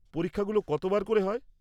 পরীক্ষাগুলো কতবার করে হয়?